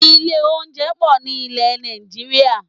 Ilé oúnjẹ pọ̀ ní ilẹ̀ Nàìjíríà